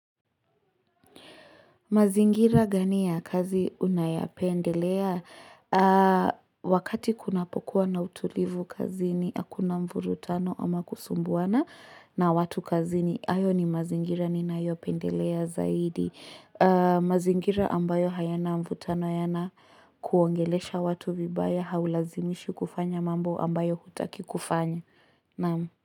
Mazingira gani ya kazi unayapendelea? Wakati kunapokuwa na utulivu kazini akuna mvurutano ama kusumbuana na watu kazini hayo ni mazingira ninayopendelea zaidi. Mazingira ambayo hayana mvutano hayana kuongelesha watu vibaya haulazimishwi kufanya mambo ambayo hutaki kufanya.